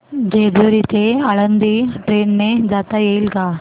जेजूरी ते आळंदी ट्रेन ने जाता येईल का